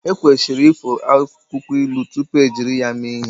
Ekwesịrị ifo akwụkwọ ilu tupu ejiri ya mee ihe